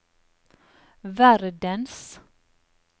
verdens